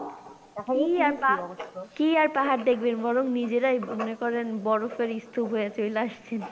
কি আর পাহাড় দেখবেন বরং নিজেরাই মনে করেন বরফের স্তুপ হয়ে চইলা আসছেন।